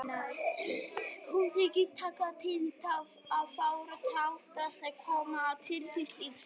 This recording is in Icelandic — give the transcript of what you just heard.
Hún þykir taka tillit til of fárra þátta sem koma að tilvist lífs.